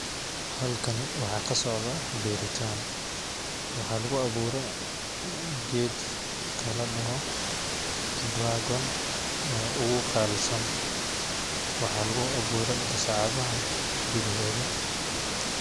Halkani waxaa kasocdaa beeritaan ,waxaa lagu awuure geedka la dhaho dragon oo ugu qaalisan ,waxaa lagu awuure gasacadaha gudahooda.